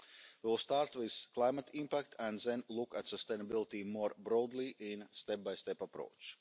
We will start with climate impact and then look at sustainability more broadly with a step by step approach.